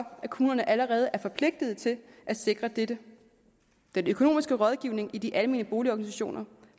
kommunerne allerede er forpligtede til at sikre dette den økonomiske rådgivning i de almene boligorganisationer